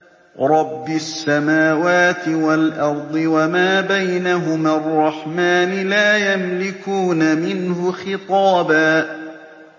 رَّبِّ السَّمَاوَاتِ وَالْأَرْضِ وَمَا بَيْنَهُمَا الرَّحْمَٰنِ ۖ لَا يَمْلِكُونَ مِنْهُ خِطَابًا